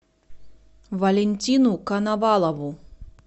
валентину коновалову